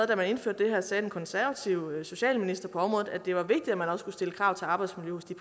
da man indførte det her sagde den konservative socialminister på området at det var vigtigt at man også skulle stille krav til arbejdsmiljøet